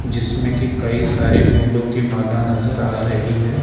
जिसमे की कई सारे फूलों की माला नजर आ रही है।